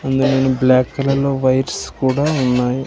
అందులోనూ బ్లాక్ కలర్లో వైర్స్ కూడా ఉన్నాయి.